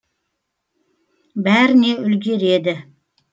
бәріне үлгереді